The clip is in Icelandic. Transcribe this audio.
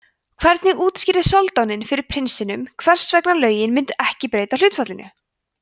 hvernig útskýrði soldáninn fyrir prinsinum hvers vegna lögin myndu ekki breyta hlutfallinu